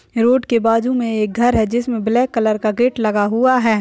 Road के बाजू में एक घर है जिसमे ब्लैक कलर का गेट लगा हुआ है।